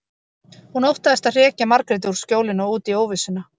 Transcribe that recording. Hún óttaðist að hrekja Margréti úr skjólinu og út í óvissuna.